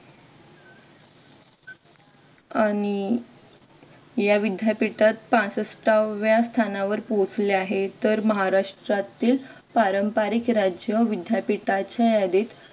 आणि या विद्यापीठात पासष्ठाव्या स्थानावर पोहोचली आहे. तर महाराष्ट्रातील पारंपरिक राज्य विद्यापीठाच्या यादीत